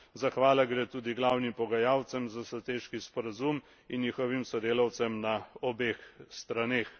Zahvala gre tudi glavnim pogajalcem za strateški sporazum in njihovim sodelavcem na obeh straneh.